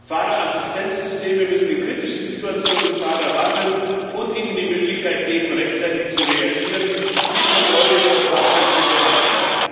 Fahrerassistenzsysteme müssen in kritischen Situationen Fahrer warnen und ihnen die Möglichkeit geben, rechtzeitig zu reagieren, um die Kontrolle über das Fahrzeug zu behalten.